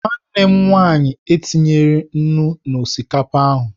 Nwanne m nwaanyị etinyeghị nnu n'osikapa ahụ.